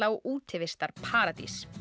og útivistarparadís